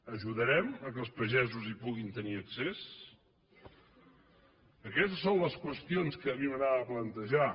ajudarem que els pagesos hi puguin tenir accés aquestes són les qüestions que a mi m’a grada plantejar